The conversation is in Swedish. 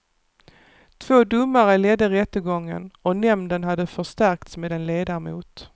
Två domare ledde rättegången och nämnden hade förstärkts med en ledamot.